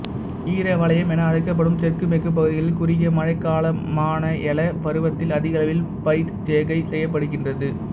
ஈர வலயம் என அழைக்கப்படும் தெற்கு மேற்கு பகுதிகளில் குறுகிய மழைக்காலமான யல பருவத்தில் அதிகளவில் பயிர்ச்செய்கை செய்யப்படுகின்றது